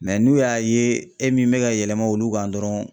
n'u y'a ye e min bɛ ka yɛlɛma olu kan dɔrɔn